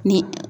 Ni